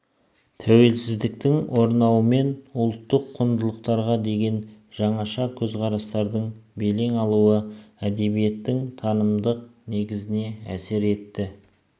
тәуелсіздіктің орнауымен ұлттық құндылықтарға деген жаңаша көзқарастардың белең алуы әдебиеттің танымдық негізіне әсер етті